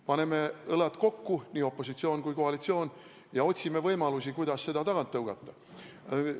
Paneme õlad kokku – opositsioon ja koalitsioon – ja otsime võimalusi, kuidas seda tagant tõugata!